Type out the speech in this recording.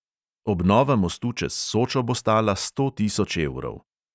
Obnova mostu čez sočo bo stala sto tisoč evrov.